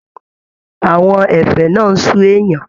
Àwọn ẹ̀fẹ̀ náà n sú èèyàn.